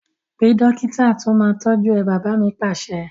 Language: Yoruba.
Pe dókítà to máa tọju ẹ! Bàbá mi Pàṣẹ